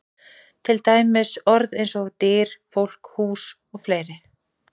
Til dæmis orð eins og: Dyr, fólk, hús og fleiri?